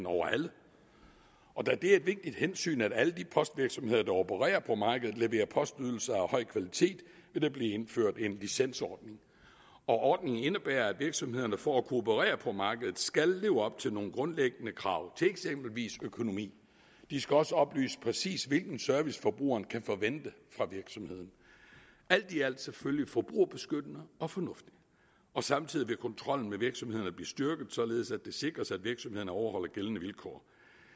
over alle og da det er et vigtigt hensyn at alle de postvirksomheder der opererer på markedet leverer postydelser af høj kvalitet vil der blive indført en licensordning ordningen indebærer at virksomhederne for at kunne operere på markedet skal leve op til nogle grundlæggende krav til eksempelvis økonomi de skal også oplyse præcis hvilken service forbrugeren kan forvente af virksomheden alt i alt selvfølgelig forbrugerbeskyttende og fornuftigt og samtidig vil kontrollen med virksomhederne blive styrket således at det sikres at virksomhederne overholder gældende vilkår